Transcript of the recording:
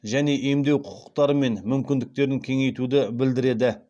және емдеу құқықтары мен мүмкіндіктерін кеңейтуді білдіреді